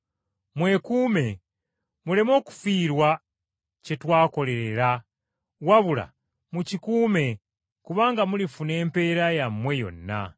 Mwekuume, muleme okufiirwa kye twakolerera, wabula mukikuume kubanga mulifuna empeera yammwe yonna.